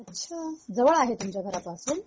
अच्छा जवळ आहे तुमच्या घराच्या पासून